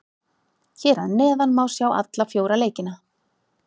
Hér að neðan má sjá alla fjóra leikina.